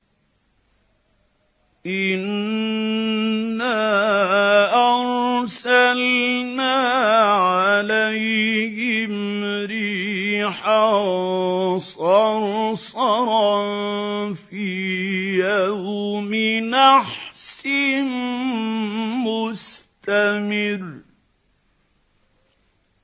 إِنَّا أَرْسَلْنَا عَلَيْهِمْ رِيحًا صَرْصَرًا فِي يَوْمِ نَحْسٍ مُّسْتَمِرٍّ